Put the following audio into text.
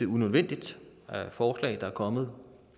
unødvendigt forslag der er kommet